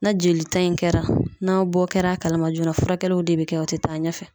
Na jelita in kɛra, n'a bɔ kɛra a kalama joon,a furakɛliw de be kɛ o te taa ɲɛfɛ.